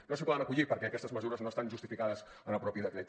no s’hi poden acollir perquè aquestes mesures no estan justificades en el mateix decret